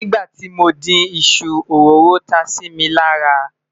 nígbà tí mọ dín iṣu, òróró tá Si mí lára